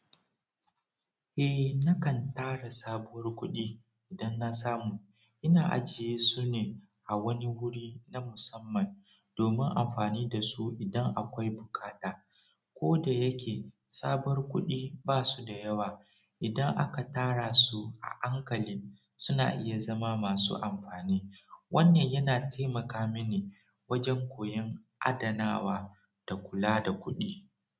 Eh, nakan tara sabuwar kuɗi idan na samu ina ajiye su ne a wani guri na musamman domin amfani da su idan akwai buƙata. Ko da yake sabuwar kuɗi ba su da yawa, idan aka tara su a hankali, suna iya zama masu amfani. Wanne yana taimaka mini wajen koyon adanawa da kula da kuɗi.